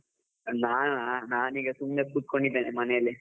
ನಾನಾ, ನಾನೀಗ ಸುಮ್ಮನೆ ಕುತ್ಕೊಂಡಿದ್ದೇನೆ ಮನೇಲಿ.